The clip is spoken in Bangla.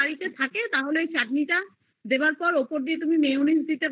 যদি বাড়িতে থাকে তাহলে চাটনি তা দেয়ার পর উপর থেকে mayonese